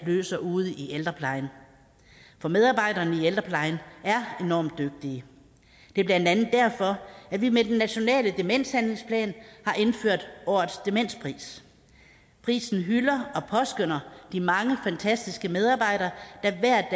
løser ude i ældreplejen for medarbejderne i ældreplejen er enormt dygtige det er blandt andet derfor at vi med den nationale demenshandlingsplan har indført årets demenspris prisen hylder og påskønner de mange fantastiske medarbejdere der hver